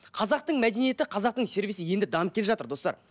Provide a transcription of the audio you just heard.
қазақтың мәдениеті қазақтың сервисі енді дамып келе жатыр достар